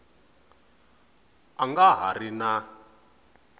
a nga ha ri na